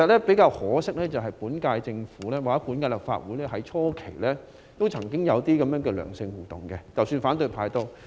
比較可惜的是，本屆政府與本屆立法會初期曾經有這樣的良性互動，反對派亦然。